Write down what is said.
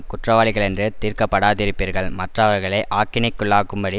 குற்றவாளிகளென்று தீர்க்கப்படாதிருப்பீர்கள் மற்றவர்களை ஆக்கினைக்குள்ளாகும்படி